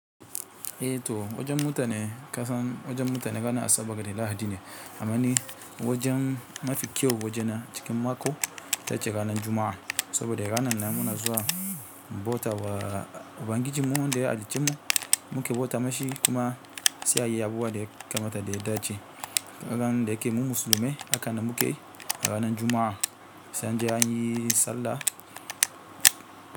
Eh to wajen mutane kasan wajen mutane rana a saboda da lahadi ne, amani wajen mafi kyau waje na a cikin mako tace ranan juma'a. Saboda ranan nan muna zuwa bauta wa ubangiji mu ɗaya halicce mu, muke bauta mashi kuma sai a yi abubuwa da ya kamata da ya dace. Rana da yake mu musulmai akan na muke ranan Juma'a anje anyi sallah.